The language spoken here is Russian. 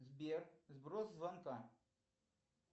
сбер сброс звонка